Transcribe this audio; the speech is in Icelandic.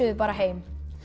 bara heim